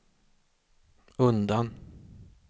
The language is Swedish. undan